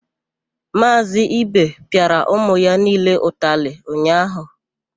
Maazị ibe pịara ụmụ ya niile ụtalị ụnyaahụ.